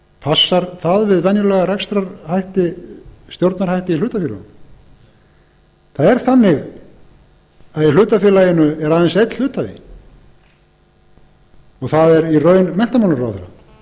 passar það við venjulega stjórnarhætti í hlutafélögum það er þannig að í hlutafélaginu er aðeins einn hluthafi það er í raun menntamálaráðherra